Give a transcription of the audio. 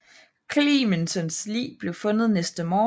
Clemmensens lig blev fundet næste morgen